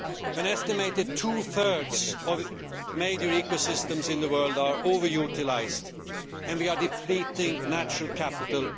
An estimated two thirds of major ecosystems in the world are over utilised, and we are depleting natural capital.